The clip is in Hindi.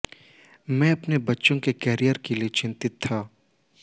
मैं अपने बच्चों के कॅरियर के लिए चिंतित था